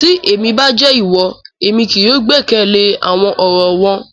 Ti emi ba jẹ iwọ, emi kii yóò gbẹkẹle awọn ọrọ wọn